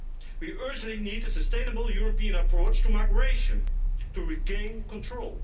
We urgently need a sustainable European approach to migration to regain control.